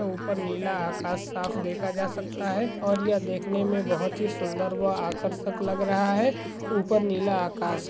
उपर नीला आकाश साफ देखा जा सकता है और ये देखने मे बहुत सुंदर व आकर्षक लग रहा है उपर नीला आकाश है।